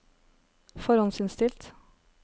forhåndsinnstilt